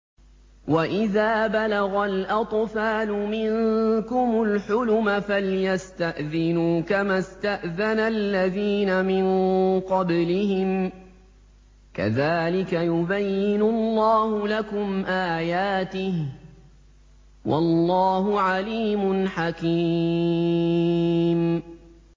وَإِذَا بَلَغَ الْأَطْفَالُ مِنكُمُ الْحُلُمَ فَلْيَسْتَأْذِنُوا كَمَا اسْتَأْذَنَ الَّذِينَ مِن قَبْلِهِمْ ۚ كَذَٰلِكَ يُبَيِّنُ اللَّهُ لَكُمْ آيَاتِهِ ۗ وَاللَّهُ عَلِيمٌ حَكِيمٌ